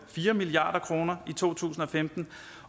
fire milliard kroner i to tusind og femten